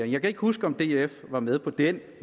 jeg kan ikke huske om df var med på den